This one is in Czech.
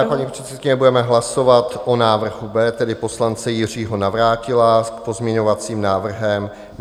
Dále, paní předsedkyně, budeme hlasovat o návrhu B, tedy poslance Jiřího Navrátila s pozměňovacím návrhem.